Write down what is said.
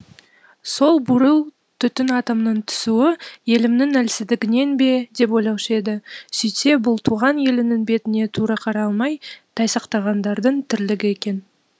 сол бурыл түтін атомның түсуі елімнің әлсіздігінен бе деп ойлаушы еді сөйтсе бұл туған елінің бетіне тура қарай алмай тайсақтағандардың тірлігі екен